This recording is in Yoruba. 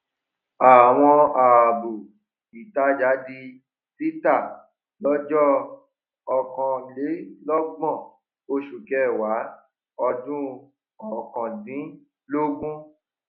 àwọn ààbò ìtajà di títà lọjọ ọkanlélọgbọn oṣù kẹwàá ọdún ọkàn dínlógún